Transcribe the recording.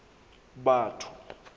batho